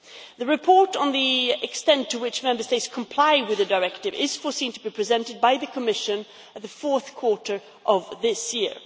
The report on the extent to which Member States comply with the directive is foreseen to be presented by the Commission in the fourth quarter of this year.